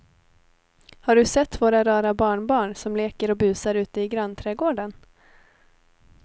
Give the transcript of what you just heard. Har du sett våra rara barnbarn som leker och busar ute i grannträdgården!